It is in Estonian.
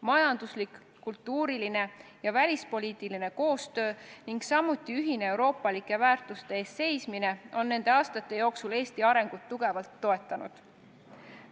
Majanduslik, kultuuriline ja välispoliitiline koostöö ning samuti ühine euroopalike väärtuste eest seismine on nende aastate jooksul Eesti arengut tugevalt toetanud.